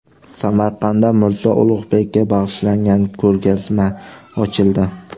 Samarqandda Mirzo Ulug‘bekka bag‘ishlangan ko‘rgazma ochildi.